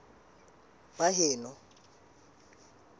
baheno